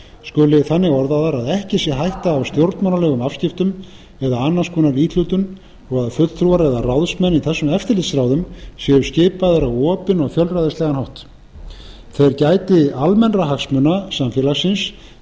skuli þannig orðaðar að ekki sé hætta á stjórnmálalegum afskiptum eða annars konar íhlutun og að fulltrúar eða ráðsmenn í þessum eftirlitsráðum séu skipaðir á opinn og fjölræðislegan hátt þeir gæti almennra hagsmuna samfélagsins þeir